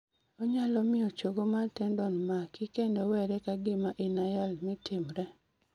Onyalo miyo chogo mar tendon maki kendo were ka gima inayal mi timre.